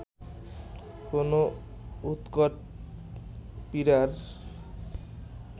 কোন উৎকট পীড়ার